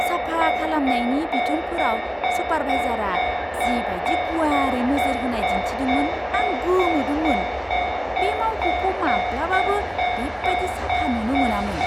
साफा खालामनायनि बिथोनफोराव सुपारभाइजारआ जि बायदि गुवारै नोजोर होनाय दिन्थिदोंमोन आं गोमोदोंमोन। बे मावख'खौ माब्लाबाबो बेबायदि साफा नुनो मोनामोन!